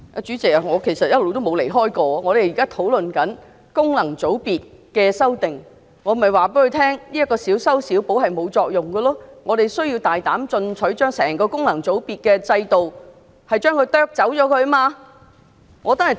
主席，其實我一直也沒有離題，我們現在討論有關功能界別的修訂，所以我告訴局長，這樣的小修小補是沒有作用的，我們須大膽進取，將整個功能界別制度削去。